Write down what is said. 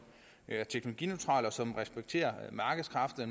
er teknologineutral og som respekterer markedskræfterne